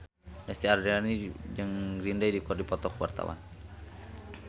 Lesti Andryani jeung Green Day keur dipoto ku wartawan